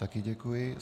Také děkuji.